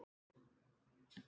Ertu kominn að kveðja?